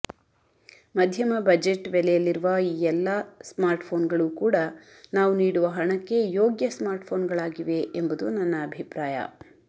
ಮಧ್ಯಮ ಬಜೆಟ್ ಬೆಲೆಯಲ್ಲಿರುವ ಈ ಎಲ್ಲಾ ಸ್ಮಾರ್ಟ್ಫೋನ್ಗಳು ಕೂಡ ನಾವು ನೀಡುವ ಹಣಕ್ಕೆ ಯೋಗ್ಯ ಸ್ಮಾರ್ಟ್ಫೋನ್ಗಳಾಗಿವೆ ಎಂಬುದು ನನ್ನ ಅಭಿಪ್ರಾಯ